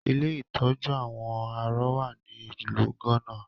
Ilé ìtọ́jú àwọn arọ wá ní ìlú gánà